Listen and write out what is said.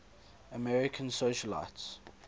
american socialites